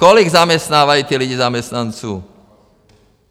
Kolik zaměstnávají ti lidi zaměstnanců?